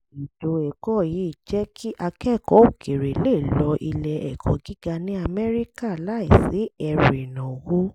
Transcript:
ètò ẹ̀kọ́ yìí ń jẹ́ kí akẹ́kọ̀ọ́ òkèèrè lè lọ ilé ẹ̀kọ́ gíga ní amẹ́ríkà láìsí ẹrù ìnáwó